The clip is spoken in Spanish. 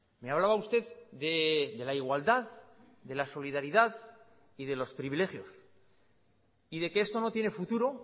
me hablaba usted de la igualdad de la solidaridad y de los privilegios y de que esto no tiene futuro